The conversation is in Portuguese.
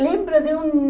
Lembro de um...